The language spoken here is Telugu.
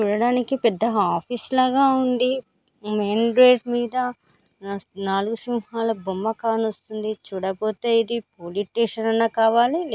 చూడటానికి ఇది పేద ఆఫీసు లాగ ఉంది మెయిన్ గేటు మీద నా- నాలుగు సింహాల బొమ్మ కనిపిస్తుంది చూడపోతే ఇది పోలీస్ స్టేషన్ అన్న కావాలి --